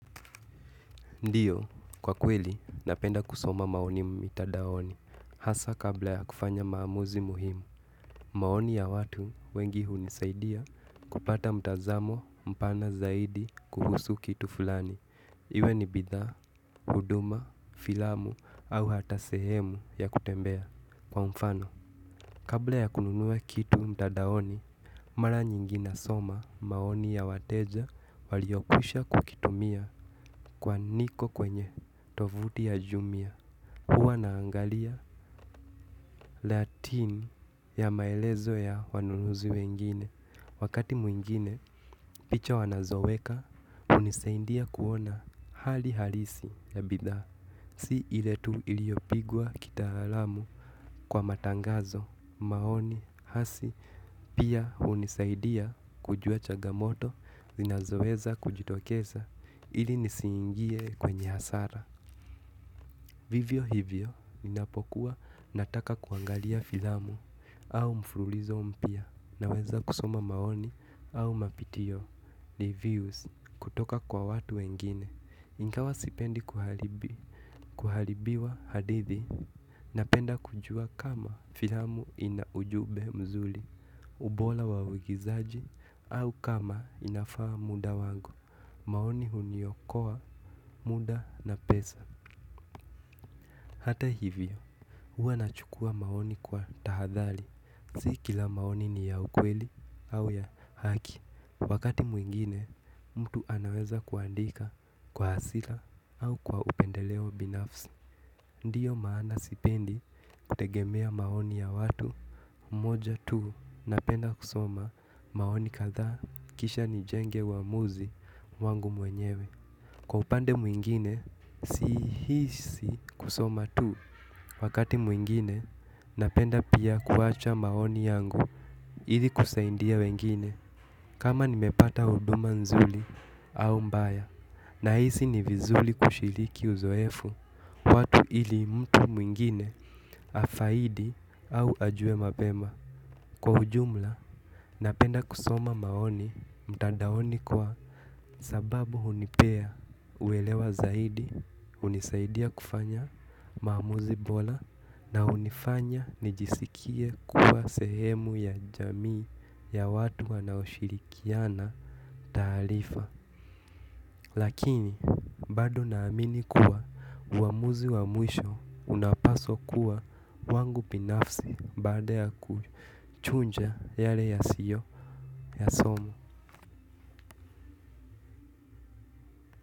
Ndiyo, kwa kweli napenda kusoma maoni mitandaoni hasa kabla ya kufanya maamuzi muhimu maoni ya watu wengi hunisaidia kupata mtazamo mpana zaidi kuhusu kitu fulani iwe ni bidhaa huduma filamu au hata sehemu ya kutembea kwa mfano kabla ya kununua kitu mtandaoni mara nyingi nasoma maoni ya wateja waliokwisha kukitumia kwa niko kwenye tuvuti ya Jumia huwa naangalia latin ya maelezo ya wanunuzi wengine wakati mwingine picha wanazoweka hunisaidia kuona hali halisi ya bidhaa si ile tu ilyiopigwa kitaalamu kwa matangazo maoni hasi pia hunisaidia kujua changamoto zinazoweza kujitokeza ili nisiingie kwenye hasara vivyo hivyo ninapokuwa nataka kuangalia filamu au mfululizo mpya naweza kusoma maoni au mapitio ni views kutoka kwa watu wengine ingawa sipendi kuharibiwa hadithi napenda kujua kama filamu ina ujumbe mzuri ubora wa uigizaji au kama inafaa muda wangu maoni huniokoa muda na pesa hata hivyo huwa nachukua maoni kwa tahadhari si kila maoni ni ya ukweli au ya haki wakati mwingine mtu anaweza kuandika kwa hasira au kwa upendeleo binafsi ndiyo maana sipendi kutegemea maoni ya watu moja tu napenda kusoma maoni kadhaa kisha nijenge uamuzi wangu mwenyewe kwa upande mwingine sihisi kusoma tu wakati mwingine napenda pia kuacha maoni yangu ili kusaidia wengine kama nimepata huduma nzuri au mbaya nahisi ni vizuri kushiriki uzoefu watu ili mtu mwingine afaidi au ajue mapema Kwa ujumla, napenda kusoma maoni mtandaoni kwa sababu hunipea uelewa zaidi hunisaidia kufanya maamuzi bora na hunifanya nijisikie kuwa sehemu ya jamii ya watu wanaoshirikiana taarifa lakini bado naamini kuwa uamuzi wa mwisho unapaswa kuwa wangu binafsi baada ya kuchuja yale yasiyo yasoma.